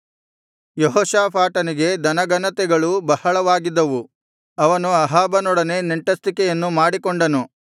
ಯೆಹೋಷಾಫಾಟನಿಗೆ ಧನಘನತೆಗಳು ಬಹಳವಾಗಿದ್ದವು ಅವನು ಅಹಾಬನೊಡನೆ ನೆಂಟಸ್ಥಿಕೆಯನ್ನು ಮಾಡಿಕೊಂಡನು